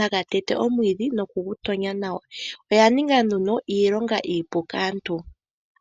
haga tete omwiidhi nokugu tonya nawa. Oya ninga nduno iilonga iipu kaantu.